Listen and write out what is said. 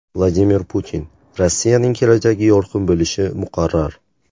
Vladimir Putin: Rossiyaning kelajagi yorqin bo‘lishi muqarrar .